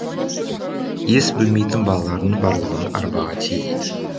ес білмейтін балалардың барлығын арбаға тиейді